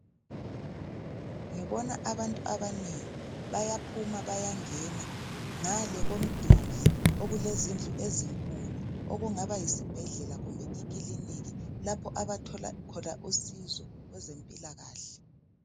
Ngibona abantu abanengi bayaphuma bayangena. Ngale komduli okulezindlu ezinkulu okungaba yisibhedlela kumbe ikilinika lapha abathola khona usizo kwezempilakahle.